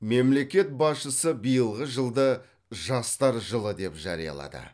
мемлекет басшысы биылғы жылды жастар жылы деп жариялады